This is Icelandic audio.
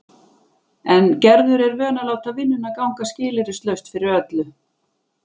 En Gerður er vön að láta vinnuna ganga skilyrðislaust fyrir öllu.